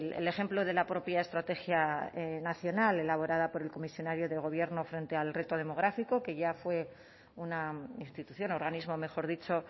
el ejemplo de la propia estrategia nacional elaborada por el comisionado del gobierno frente al reto demográfico que ya fue una institución organismo mejor dicho